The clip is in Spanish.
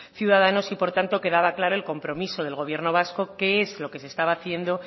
ciudadanos y por tanto quedaba claro el compromiso del gobierno vasco qué es lo que se estaba haciendo